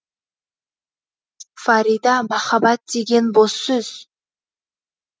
фарида махаббат деген бос сөз